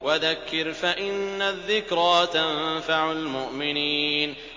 وَذَكِّرْ فَإِنَّ الذِّكْرَىٰ تَنفَعُ الْمُؤْمِنِينَ